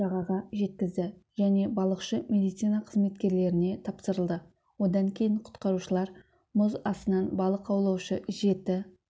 жағаға жеткізді және балықшы медицина қызметкерлеріне тапсырылды одан кейін құтқарушылар мұз астынан балық аулаушы жеті